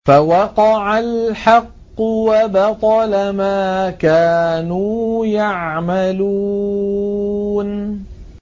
فَوَقَعَ الْحَقُّ وَبَطَلَ مَا كَانُوا يَعْمَلُونَ